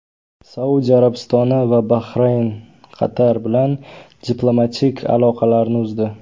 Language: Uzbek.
Saudiya Arabistoni va Bahrayn Qatar bilan diplomatik aloqalarini uzdi.